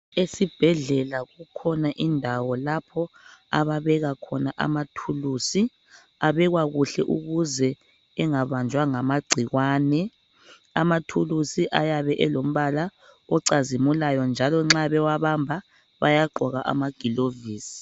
Esibhedlela kukhona indawo lapho ababeka khona amathuluzi . Abekwa kuhle ukuze engabanjwa ngamagcikwane. Amathuluzi ayabe elombala ocazimulayo njalo nxa bewabamba bayagqoka amagilovisi.